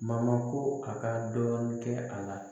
ko a ka dɔɔnin kɛ a la